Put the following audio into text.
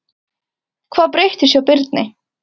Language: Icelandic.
Hvað breyttist hjá Birni?